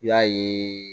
I y'a ye